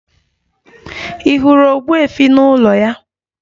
Ị hụrụ ogbuefi n'ụlọ ya?